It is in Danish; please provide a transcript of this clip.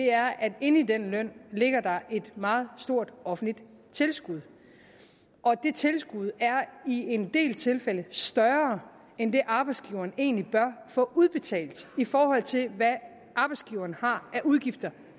er at inde i den løn ligger der et meget stort offentligt tilskud og det tilskud er i en del tilfælde større end det arbejdsgiveren egentlig bør få udbetalt i forhold til hvad arbejdsgiveren har af udgifter